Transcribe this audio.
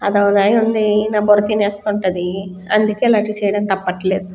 ఆది నా బుర్ర తినేస్తుంటది అందుకే ఇలాంటివి చేయడం తపట్లేదు.